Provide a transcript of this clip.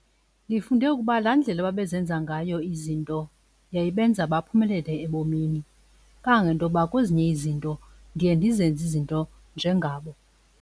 Ndifunde ukuba laa ndlela ababezenza ngayo izinto yayibenza baphumelele ebomini, kangangentoba kwezinye izinto ndiye ndizenze izinto njengabo.